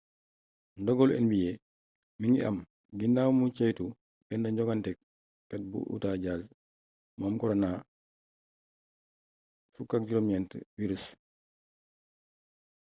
ndogalu nba mi ngi am ginaawa nu ceytoo benn jongantekat bu utah jazz mu am korona-19 wirus